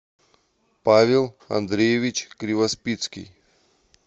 павел андреевич кривоспицкий